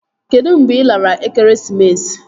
Kedụ mgbe ị lara ekeresimesi?